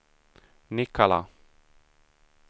Nikkala